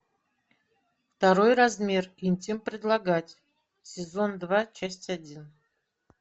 второй размер интим предлагать сезон два часть один